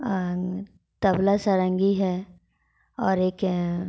अअन तबला सारंगी है और एक एए --